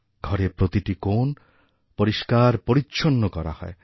ঘরের প্রতিটি কোণ পরিষ্কার পরিচ্ছন্ন করা হয়